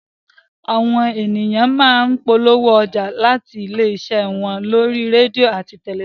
Àwọn ènìyàn má ń polówó ọjà àti ilé iṣẹ́ wọn lórí rédíò àti tẹ̀lifísàn